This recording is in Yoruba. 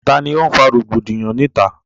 Tani ó ń fa rògbòdìyàn ni ìta?